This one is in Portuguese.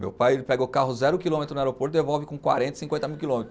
Meu pai ele pega o carro zero quilômetro no aeroporto e devolve com quarenta, cinquenta mil quilômetros.